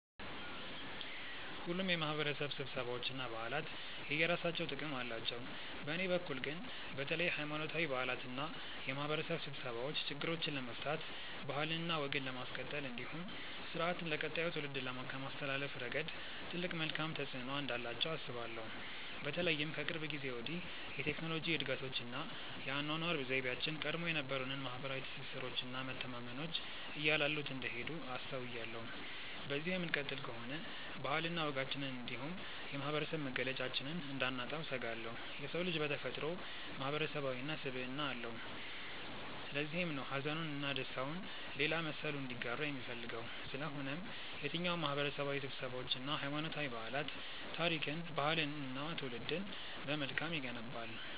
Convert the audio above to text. ሁሉም የማህበረሰብ ስብሰባዎች እና በዓላት የየራሳቸው ጥቅም አላቸው። በእኔ በኩል ግን በተለይ ሀይማኖታዊ በዓላት እና የማህበረሰብ ስብሰባዎች ችግሮችን ለመፍታት ባህልና ወግን ለማስቀጠል እንዲሁም ስርአትን ለቀጣዩ ትውልድ ከማስተላለፍ ረገድ ትልቅ መልካም ተፆዕኖ እንዳላቸው አስባለሁ። በተለይም ከቅርብ ጊዜ ወዲህ የቴክኖሎጂ እድገቶች እና የአኗኗር ዘይቤያችን ቀድሞ የነበሩንን ማህበረሰባዊ ትስስሮች እና መተማመኖች እያላሉት እንደሄዱ አስተውያለሁ። በዚሁ የምንቀጥል ከሆነ ባህልና ወጋችንን እንዲሁም የማህበረሰብ መገለጫችንን እንዳናጣው እሰጋለሁ። የሰው ልጅ በተፈጥሮው ማህበረሰባዊ ስብዕና አለው። ለዚህም ነው ሀዘኑን እና ደስታውን ሌላ መሰሉ እንዲጋራው የሚፈልገው። ስለሆነም የትኛውም ማህበረሰባዊ ስብሰባዎች እና ሀይማኖታዊ በዓላት ታሪክን፣ ባህልንን እና ትውልድን በመልካም ይገነባል።